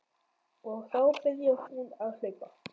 Og þá byrjar hún að hlaupa.